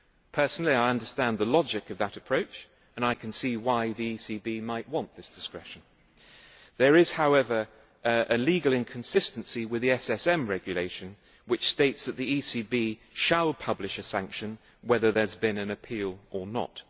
Personally, I understand the logic of that approach and I can see why the ECB might want this discretion. There is, however, a legal inconsistency with the SSM Regulation, which states that the ECB shall publish a sanction whether there has been an appeal or not.